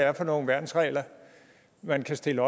er for nogle værnsregler man kan stille